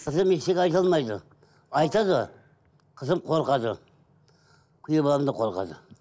қызым ештеңе айта алмайды айтады қызым қорқады күйеу баламнан қорқады